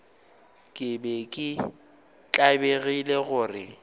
ke be ke tlabegile gore